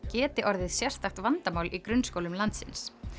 geti orðið sérstakt vandamál í grunnskólum landsins